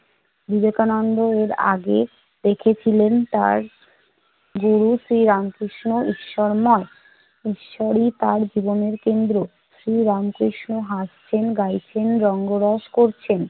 বিবেকানন্দ এর আগে দেখেছিলেন তার গুরু শ্রী রামকৃষ্ণ ঈশ্বরময়। ঈশ্বরই তার জীবনের কেন্দ্র। সেই রামকৃষ্ণ হাসছেন, গাইছেন, রঙ্গরস করছেন।